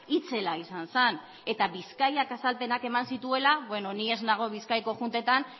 itzela izan zen eta bizkaiak azalpenak eman zituela bueno ni ez nago bizkaiko juntetan